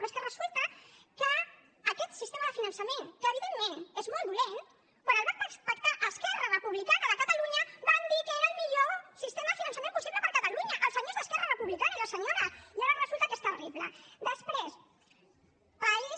però és que resulta que aquest sistema de finançament que evidentment és molt dolent quan el va pactar esquerra republicana de catalunya van dir que era el millor sistema de finançament possible per a catalunya els senyors d’esquerra republicana i les senyores i ara resulta que és terrible després país